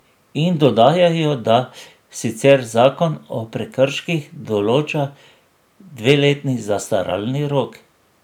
In dodajajo, da sicer zakon o prekrških določa dveletni zastaralni rok.